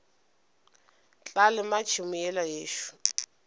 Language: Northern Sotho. tla lema tšhemo yela yešo